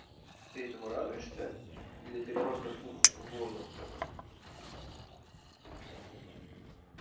ты этому радуешься или ты просто фух в воздух сказал